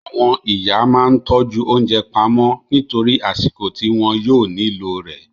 Àwọn ìyá máa ń tọ́jú oúnjẹ pamọ́ nítorí àsìkò ti wọn yóò nílò rẹ